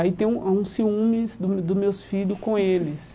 Aí tem ah alguns ciúmes do meu dos meus filhos com eles.